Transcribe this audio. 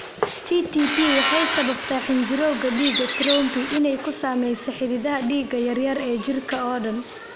TTP waxay sababtaa xinjirowga dhiigga (thrombi) inay ku sameeyaan xididdada dhiigga yaryar ee jirka oo dhan.